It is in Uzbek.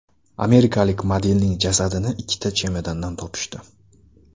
Amerikalik modelning jasadini ikkita chemodandan topishdi.